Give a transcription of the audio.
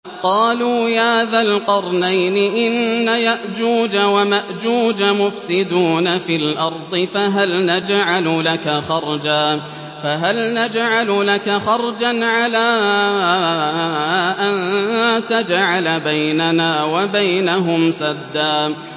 قَالُوا يَا ذَا الْقَرْنَيْنِ إِنَّ يَأْجُوجَ وَمَأْجُوجَ مُفْسِدُونَ فِي الْأَرْضِ فَهَلْ نَجْعَلُ لَكَ خَرْجًا عَلَىٰ أَن تَجْعَلَ بَيْنَنَا وَبَيْنَهُمْ سَدًّا